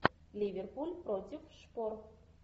ливерпуль против шпор